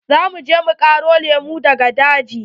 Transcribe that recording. Za mu je mu ƙaro lemu daga daji.